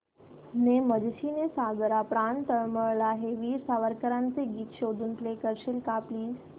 ने मजसी ने सागरा प्राण तळमळला हे वीर सावरकरांचे गीत शोधून प्ले करशील का प्लीज